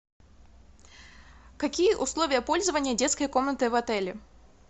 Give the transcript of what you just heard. какие условия пользования детской комнаты в отеле